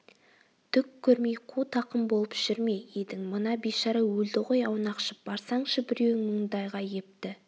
түк көрмей қу тақым болып жүр ме едің мына бейшара өлді ғой аунақшып барсаңшы біреуің мұндайға епті